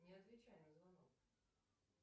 не отвечай на звонок